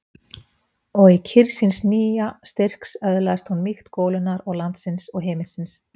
Og í kyrrð síns nýja styrks öðlaðist hún mýkt golunnar og landsins og himinsins.